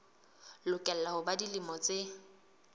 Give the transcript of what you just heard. lokela ho ba dilemo tse